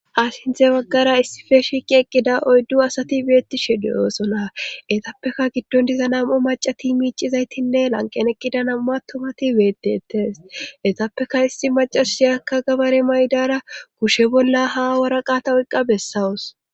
Asinthe baggara issife shiiqi eqqida oyddu asati beettishe deyoosonna etappeka giddon diza nam7u macati miicizaytinne lanqen eqqida nam7u attumati beedetes etappeka isti macasiyakka gabare maydara kushe bolla ha waraqata oyqqa bessawus